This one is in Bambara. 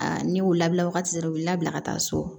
ne y'u labila wagati o la bila ka taa so